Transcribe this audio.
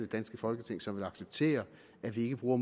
danske folketing som vil acceptere at vi ikke bruger